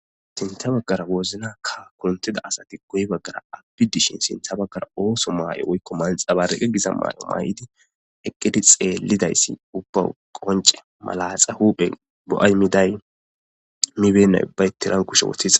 Sinta baggara woznakka kuntida asati goy baggara abbi dishin sintha baggara ooso maay'o woykko manxaba reqe gisa maay'o maa'idi eqqedi xeelidayssi ubba qonce malaaxa huuphe bo'aymiday mibennay baytiran kushe woththiza.